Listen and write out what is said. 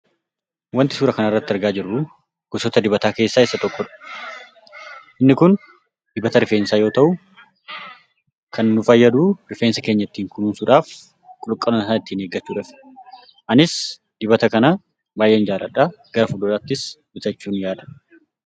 Wanti suuraa kanarratti arginu gosoota dibataa keessaa isa tokkodha. Inni kun dibata rifeensaa yoo ta'u, kan nu fayyadu rifeensa keenya ittiin kunuunsuudhaaf, qulqullina isaa ittiin eeggachuudhaafi. Anis dibata kana baay'een jaalladha. Gara fuulduraattis bitachuun yaala.